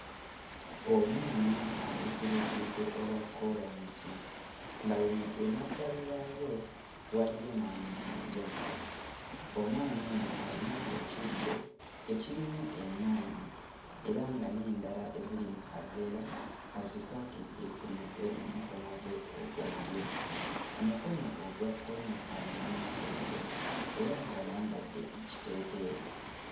Omwana ali ku luguudo olwa kkoolansi nga luno emabbali waalwo waliyo n'amayinja. Omwana ono ayina ekibbo ekirimu ennyaanya era nga n'endala eziri mu kaveera azikwatidde ku mutwe mu mukono gwe ogwa ddyo. Omukono ogwa kkono alinamu ssente era ng'ayambadde ekiteeteeyi.